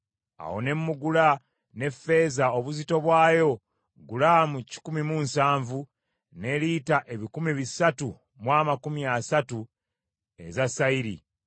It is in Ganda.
Awo ne mmugula n’effeeza obuzito bwayo gulaamu kikumi mu nsavu ne lita ebikumi bisatu mu amakumi asatu eza sayiri.